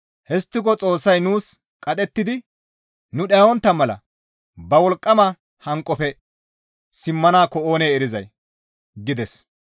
Histtiko Xoossay nuus qadhettidi nu dhayontta mala ba wolqqama hanqofe simmanaakko oonee erizay» gides.